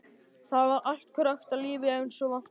Þar var allt krökkt af lífi eins og vant var.